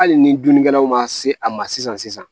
Hali ni dunnikɛlaw ma se a ma sisan sisan